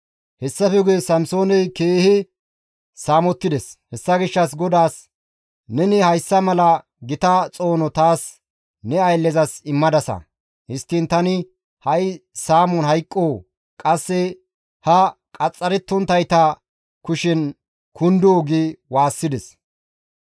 Hessafe guye Samsooney keehi saamettides; hessa gishshas GODAAS, «Neni hayssa mala gita xoono taas ne ayllezas immadasa. Histtiin tani ha7i saamon hayqqoo? Qasse ha qaxxarettonttayta kushen kundoo?» gi waassides.